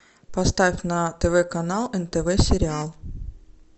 поставь на тв канал нтв сериал